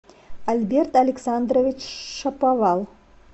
альберт александрович шаповал